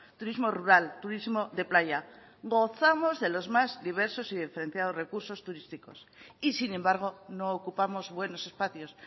turismo rural turismo de playa gozamos de los más diversos y diferenciados recursos turísticos y sin embargo no ocupamos buenos espacios